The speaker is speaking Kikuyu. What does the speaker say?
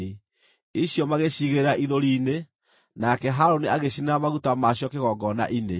icio magĩciigĩrĩra ithũri-inĩ, nake Harũni agĩcinĩra maguta macio kĩgongona-inĩ.